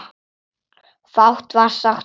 Fátt var sagt um borð.